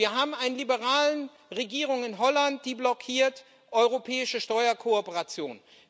Wir haben eine liberale Regierung in Holland, die blockiert europäische Steuerkooperation.